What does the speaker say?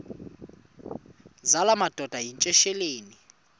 zala madoda yityesheleni